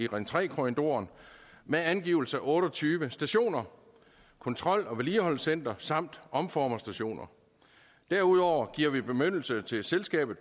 ring tre korridoren med angivelse af otte og tyve stationer kontrol og vedligeholdelsescenter samt omformerstationer derudover giver vi bemyndigelse til selskabet